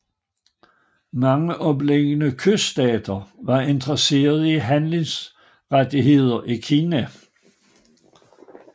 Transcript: Mange omliggende kyststater var interesserede i handelsrettigheder i Kina